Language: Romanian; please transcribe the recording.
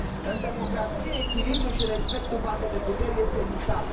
În democrație, echilibrul și respectul față de puteri este vital.